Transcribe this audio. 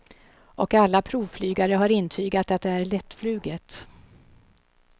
Och alla provflygare har intygat att det är lättfluget.